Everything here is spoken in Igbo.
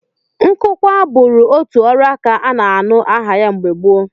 Nkụkwa bụụrụ otu ọrụaka a na-anụ aha ya mgbe gboo